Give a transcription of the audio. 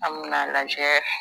An min'a lajɛ